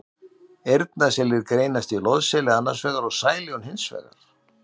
Eyrnaselir greinast í loðseli annars vegar og sæljón hins vegar.